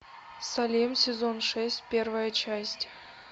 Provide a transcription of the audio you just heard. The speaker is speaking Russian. салем сезон шесть первая часть